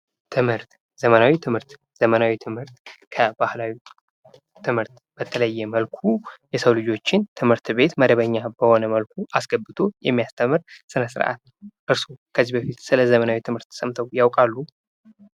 ትምህርት ዘመናዊ ትምህርት ከባህላዊ ትምህርት በተለዬ መልኩ የሰው ልጆችን ትምህርት ቤት መደበኛ በሆነ መልኩ አስገብቶ የሚያስተምር ስነ ስርአት። እርስኦ ከዚህ በፊት ስለዘመናዊ ትምህርት ሰምተው ያውቃሉ?